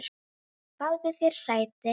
Fáðu þér sæti!